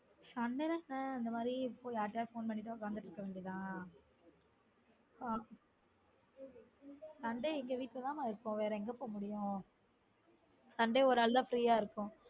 சமையல் தான் அந்த மாதிரி இருக்கும் யார்கிட்டயாவது phone பண்ணிட்டு உக்காந்து கிட்டு இருக்க வேண்டியது தான் sunday எங்க வீட்ல தான இருப்போம் வேற எங்க போ முடியும் sunday ஒரு நாள் தான் free யா இருப்போம்